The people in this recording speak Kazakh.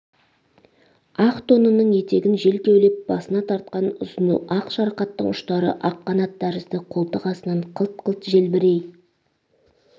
ақ тонының етегін жел кеулеп басына тартқан ұзын ақ шарқаттың ұштары ақ қанат тәрізді қолтық астынан қылт-қылт желбірей